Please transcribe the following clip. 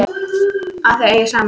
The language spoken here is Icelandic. Að þau eigi saman.